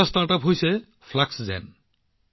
এটা ষ্টাৰ্টআপ আছে ফ্লাক্সজেন